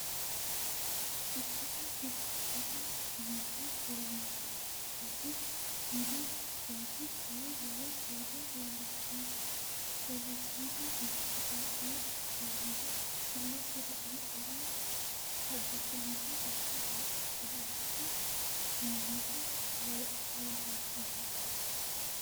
Quchuma biifisate amande fulloni gadi muli barri kawa lowo soorro leellishani no itophiyu quchumara ilete la'ne calla hagiidhinanni base da"attoti hamata loossatino.